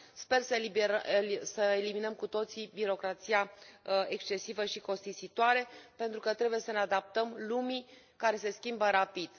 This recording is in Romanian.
Sper să eliminăm cu toții birocrația excesivă și costisitoare pentru că trebuie să ne adaptăm lumii care se schimbă rapid.